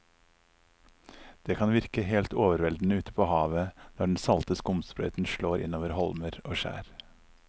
Det kan virke helt overveldende ute ved havet når den salte skumsprøyten slår innover holmer og skjær.